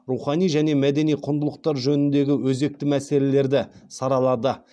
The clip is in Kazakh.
рухани және мәдени құндылықтар жөніндегі өзекті мәселелерді саралады